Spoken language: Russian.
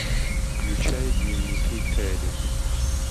включай дневники кэрри